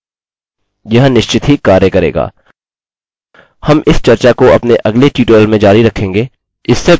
अगले ट्यूटोरियल में हम इसे जाँचेंगे और सीखेंगे कि यूज़र को पंजीकृत कैसे करें और हम अपना कोड यहाँ उस ट्यूटोरियल में रखेंगे